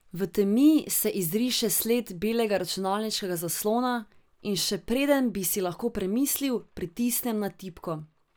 V temi se izriše sled belega računalniškega zaslona, in še preden bi si lahko premislil, pritisnem na tipko.